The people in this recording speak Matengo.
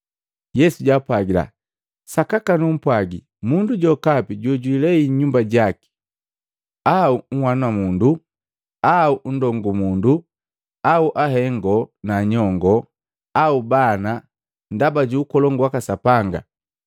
Yesu jaapwagila, “Sakaka numpwagi mundu jokapi jojwijilei nyumba jaki au nhanamundu au ndongumundu au hengo na nyongoo au bana, ndaba ju Ukolongu waka Sapanga,